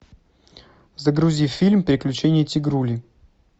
загрузи фильм приключения тигрули